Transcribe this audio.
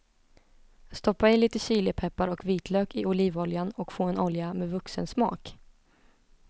Stoppa i lite chilipeppar och vitlök i olivoljan och få en olja med vuxensmak.